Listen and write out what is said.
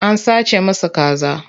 An sace masa kaza.